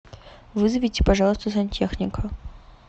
вызовите пожалуйста сантехника